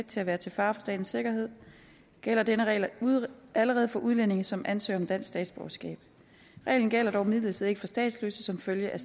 til at være til fare for statens sikkerhed gælder denne regel allerede for udlændinge som ansøger om dansk statsborgerskab reglen gælder dog imidlertid ikke for statsløse som følge af